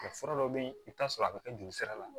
fura dɔw bɛ yen i bɛ t'a sɔrɔ a bɛ kɛ jolisira la